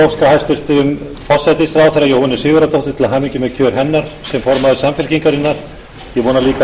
hæstvirtum forsætisráðherra jóhönnu sigurðardóttur til hamingju með kjör hennar sem formaður samfylkingarinnar ég vona líka að